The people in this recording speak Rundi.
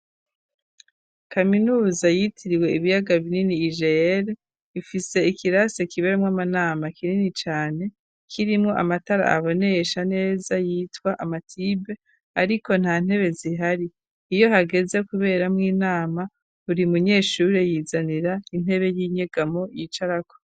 Kaminuza yitiriwe ibiyaga binini UGL ifise ikirase kibere mw'amanama kinini cane .Kirimo amatara aboneesha neza yitwa amatibe ariko nta ntebe zihari iyo hageze kubera mo inama uri munyeshuri yizanira intebe y'inyegamo yicarako.